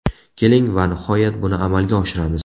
Keling, va nihoyat, buni amalga oshiramiz.